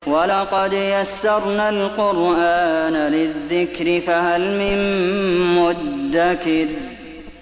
وَلَقَدْ يَسَّرْنَا الْقُرْآنَ لِلذِّكْرِ فَهَلْ مِن مُّدَّكِرٍ